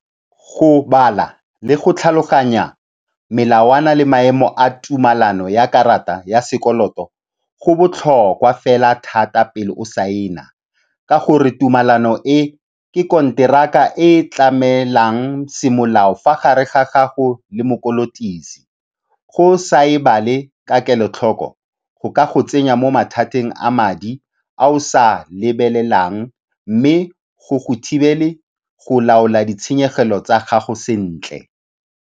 Go bala le go tlhaloganya melawana le maemo a tumalano ya karata ya sekoloto go botlhokwa fela thata pele o saena ka gore tumalano e ke konteraka e e tlamelang semolao fa gare ga gago le mokolotisi. Go sa e bale ka kelotlhoko, go ka go tsenya mo mathateng a madi a o sa a lebelelang mme go go thibele go laola ditshenyegelo tsa gago sentle.